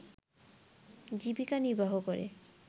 জীবিকানির্বাহ করে